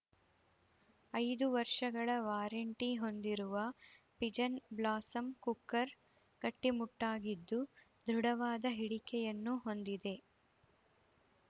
ಐದು ವರ್ಷಗಳ ವಾರೆಂಟಿ ಹೊಂದಿರುವ ಪಿಜನ್‌ ಬ್ಲಾಸಂ ಕುಕ್ಕರ್‌ ಗಟ್ಟಿಮುಟ್ಟಾಗಿದ್ದು ದೃಢವಾದ ಹಿಡಿಕೆಯನ್ನು ಹೊಂದಿದೆ